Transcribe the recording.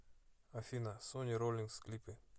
афина сонни роллинс клипы